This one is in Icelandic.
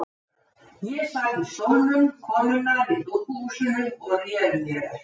Ég sat í stólnum konunnar í dúkkuhúsinu og réð mér ekki.